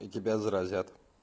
и тебя заразят